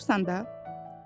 Xatırlayırsan da?